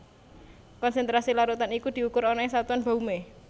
Konsentrasi larutan iku diukur ana ing satuan baumé